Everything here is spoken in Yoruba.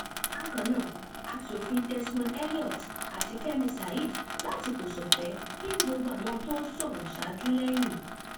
bákan náà aṣòfin desmond elliot àti fẹmi saheed láti kòsọfẹ kín gbogbo àwọn tó sọrọ ṣáájú lẹyìn